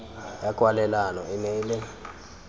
ya kwalelano e nne le